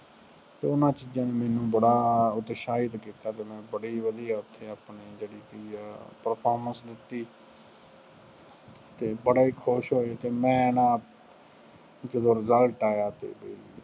ਅਤੇ ਉਹਨਾ ਚੀਜ਼ਾਂ ਨੇ ਮੈਨੂੰ ਬੜਾ ਉਤਸ਼ਾਹਿਤ ਕੀਤਾ ਅਤੇ ਮੈਨੂੰ ਬੜੀ ਵਧੀਆ ਉੱਥੇ ਜਿਹੜੀ ਕੀ ਆ performance ਦਿੱਤੀ ਅਤੇ ਬੜਾ ਹੀ ਖੁਸ਼ ਹੋਏ ਅਤੇ ਮੈਂ ਨਾ ਜਦੋ result ਆਇਆ ਤੇ